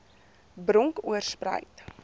bronkoorspruit